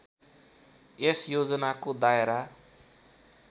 यस योजनाको दायरा